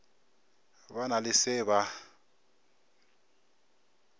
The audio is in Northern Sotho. ba na le se ba